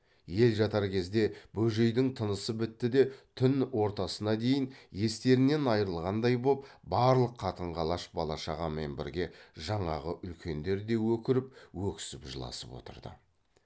ел жатар кезде бөжейдің тынысы бітті де түн ортасына дейін естерінен айрылғандай боп барлық қатын қалаш бала шағамен бірге жаңағы үлкендер де өкіріп өксіп жыласып отырды